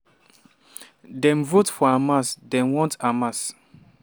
dem vote for hamas dem want hamas."